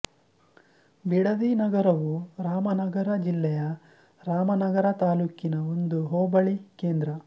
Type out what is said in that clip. ಬಿಡದಿ ನಗರವು ರಾಮನಗರ ಜಿಲ್ಲೆಯ ರಾಮನಗರ ತಾಲ್ಲೂಕಿನ ಒಂದು ಹೋಬಳಿ ಕೇಂದ್ರ